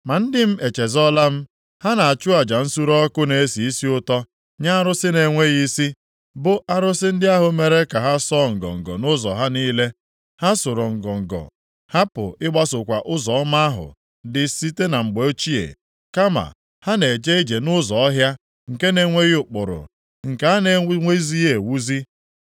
Ma ndị m echezọọla m. Ha na-achụ aja nsure ọkụ na-esi isi ụtọ nye arụsị na-enweghị isi, bụ arụsị ndị ahụ mere ka ha sọọ ngọngọ nʼụzọ ha niile. Ha sụrụ ngọngọ hapụ ịgbasokwa ụzọ ọma ahụ dị site na mgbe ochie. Kama ha na-eje ije nʼụzọ ọhịa, nke na-enweghị ụkpụrụ, nke a na-ewuzighị ewuzi.